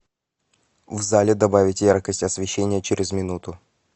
в зале добавить яркость освещения через минуту